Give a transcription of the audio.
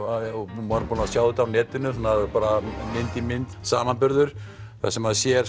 maður er búinn að sjá þetta á netinu bara mynd í mynd samanburður þar sem maður sér